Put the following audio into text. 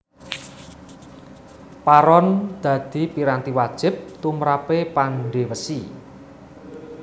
Paron dadi piranti wajib tumrape pandhe wesi